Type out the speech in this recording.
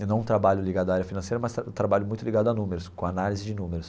Eu não trabalho ligado à área financeira, mas trabalho muito ligado a números, com análise de números.